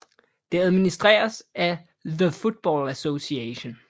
Det administreres af The Football Association